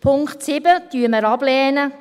Punkt 7 lehnen wir ab.